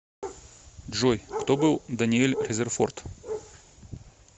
джой кто был даниэль резерфорд